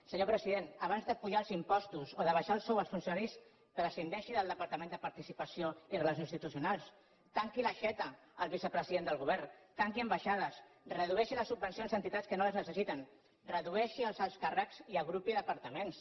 senyor president abans d’apujar els impostos o d’abaixar el sou als funcionaris prescindeixi del departament de participació i relacions institucionals tanqui l’aixeta al vicepresident del govern tanqui ambaixades redueixi les subvencions a entitats que no les necessiten redueixi els alts càrrecs i agrupi departaments